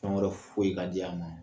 Fɛn wɛrɛ foyi ka di a ma